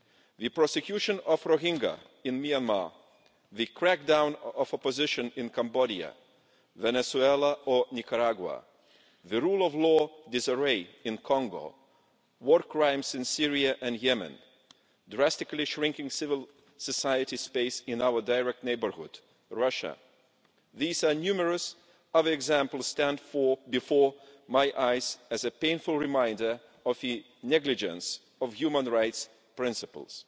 The persecution of Rohingyas in Myanmar, the crackdown of opposition in Cambodia, Venezuela or Nicaragua, the rule of law disarray in Congo, war crimes in Syria and Yemen, drastically shrinking civil society space in our direct neighbourhood, Russia these are numerous other examples which stand before my eyes as a painful reminder of the negligence of human rights principles.